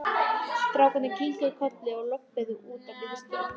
Strákarnir kinkuðu kolli og þau lölluðu öll út á biðstöð.